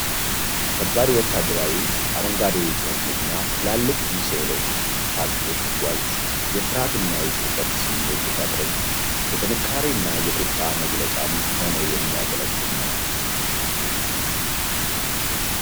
ከባድ ወታደራዊ አረንጓዴ የጭነት መኪና ትላልቅ ሚሳኤሎች ታጥቆ ሲጓዝ፣ የፍርሃት እና የጭንቀት ስሜት ቢፈጥርም፣ የጥንካሬ እና የቁጣ መገለጫም ሆኖ የሚያገለግል ነው።